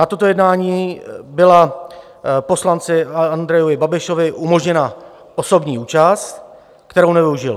Na tomto jednání byla poslanci Andrejovi Babišovi umožněna osobní účast, kterou nevyužil.